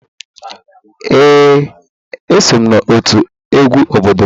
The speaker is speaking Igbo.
Ee, eso m n'otu egwu obodo m.